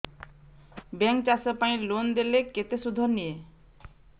bank ଚାଷ ପାଇଁ loan ଦେଲେ କେତେ ସୁଧ ନିଏ